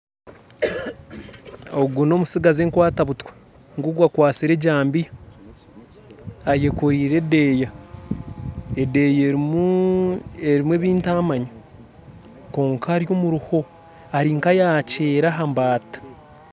Ogu nomutsigazi enkwata buta, ngugu akwasire ejambiya ayekorire edeeya edeeya erimu ebintamanya, kwonka ari omuruho ari nkayakyera ahambata